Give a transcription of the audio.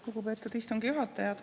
Lugupeetud istungi juhataja!